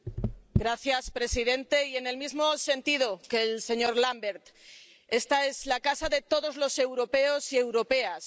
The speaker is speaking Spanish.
Señor presidente, en el mismo sentido que el señor Lamberts, esta es la casa de todos los europeos y europeas.